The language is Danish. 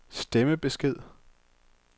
stemmebesked